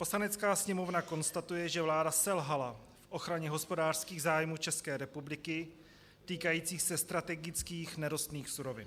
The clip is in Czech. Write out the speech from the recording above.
Poslanecká sněmovna konstatuje, že vláda selhala v ochraně hospodářských zájmů České republiky týkajících se strategických nerostných surovin.